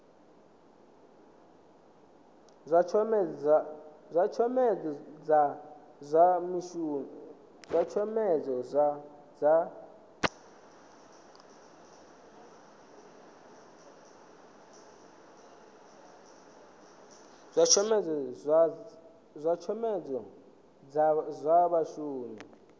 zwa tshomedzo dza zwa vhashumi